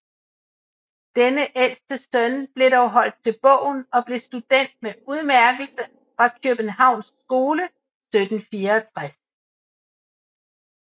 Denne ældste søn blev dog holdt til bogen og blev student med udmærkelse fra Kjøbenhavns Skole 1764